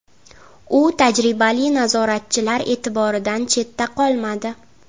U tajribali nazoratchilar e’tiboridan chetda qolmadi.